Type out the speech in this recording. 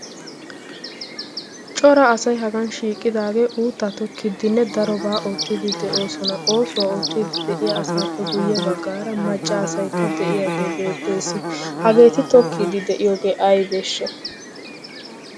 cora asay hagan shiiqqidaagee uuttaa tokkiiddinne darobaa oottiidi de'oosona. oosuwaa oottiiddi de'iya asaappe guyye baggaara macca asaikka de'iyaagee beettees hageeti tokkiidi de'iyoogee ay beeshsha?